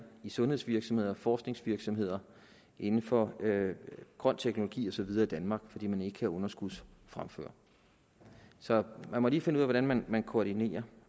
i sundhedsvirksomheder og forskningsvirksomheder inden for grøn teknologi og så videre i danmark fordi man ikke kan underskudsfremføre så man må lige finde ud af hvordan man koordinerer